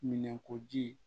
Minɛnko ji